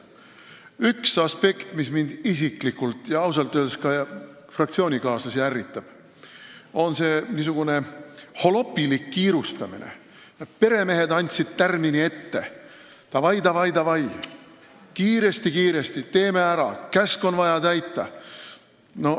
Üks aspekt, mis mind isiklikult ja ausalt öeldes ka fraktsioonikaaslasi ärritab, on see niisugune holopilik kiirustamine: peremehed andsid tärmini ette, davai-davai-davai, teeme kiiresti-kiiresti ära, käsk on vaja täita.